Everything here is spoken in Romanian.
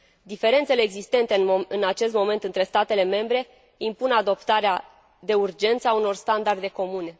Diferențele existente în acest moment între statele membre impun adoptarea de urgență a unor standarde comune.